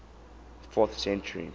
fourth century